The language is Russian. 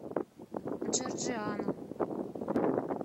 джорджиано